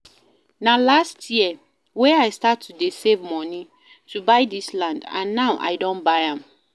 Na last year wey I start to dey save money to buy dis land and now I don buy am